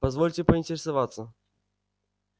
позвольте поинтересоваться